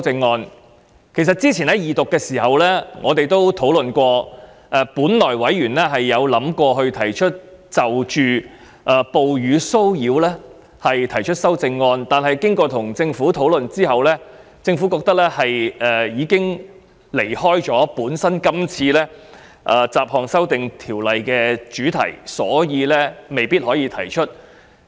我們在較早前二讀辯論階段時曾經指出，委員本來打算就哺乳騷擾提出修正案，但在與政府討論後，政府認為有關建議已偏離《2018年歧視法例條例草案》的主題，所以未必可以提出。